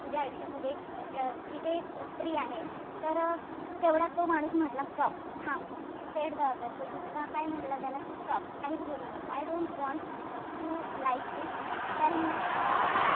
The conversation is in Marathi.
तुझ्या आयुष्यामध्ये एक तिथे एक स्त्री आहे. तर तेवढ्यात तो माणूस म्हंटला, stop थांब said the other दुसरा काय म्हंटला त्याला कि stop काहीच बोलू नको. I don't want to like this tell me uh